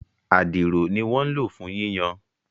Adiro ní wọ́n ń lò fún yíyan